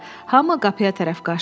Hami qapıya tərəf qaçdı.